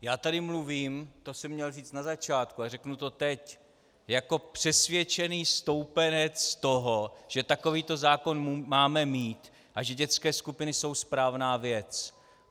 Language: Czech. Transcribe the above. Já tady mluvím - to jsem měl říct na začátku, ale řeknu to teď - jako přesvědčený stoupenec toho, že takovýto zákon máme mít a že dětské skupiny jsou správná věc.